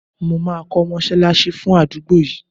Mo ma ko mosalasi fun adugbo yii